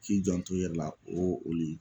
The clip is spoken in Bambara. K'i janto i yɛrɛ la o le